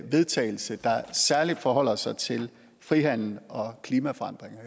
vedtagelse der særligt forholder sig til frihandel og klimaforandringer